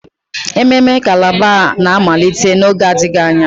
Ememme calabar a na-amalite n'oge adịghị anya?